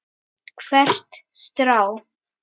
Hvert strá.